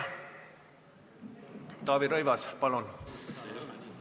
Taavi Rõivas, palun!